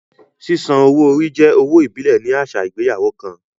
Sísan owó orí jẹ́ owó ìbílẹ̀ ní àṣà ìgbéyàwó kan